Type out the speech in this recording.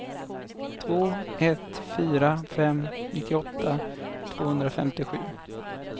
två ett fyra fem nittioåtta tvåhundrafemtiosju